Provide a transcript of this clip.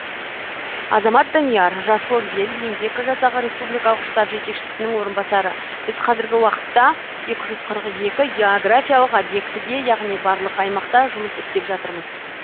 азамат данияр жасыл ел еңбек жасағы республикалық штаб жетекшісінің орынбасары біз қазіргі уақытта екі жүз қырық екі географиялық объектіде яғни барлық аймақта жұмыс істеп жатырмыз